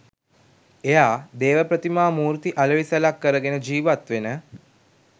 එයා දේව ප්‍රතිමා මූර්ති අලෙවි සැලක් කරගෙන ජීවත් වෙන